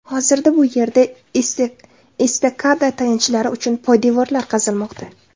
Hozirda bu yerda estakada tayanchlari uchun poydevorlar qazilmoqda.